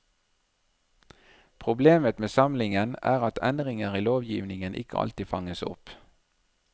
Problemet med samlingen er at endringer i lovgivningen ikke alltid fanges opp.